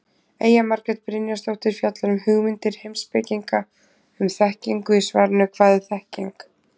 Eyja Margrét Brynjarsdóttir fjallar um hugmyndir heimspekinga um þekkingu í svarinu Hvað er þekking?